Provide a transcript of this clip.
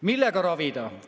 Millega ravida?